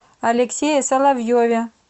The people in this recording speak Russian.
алексее соловьеве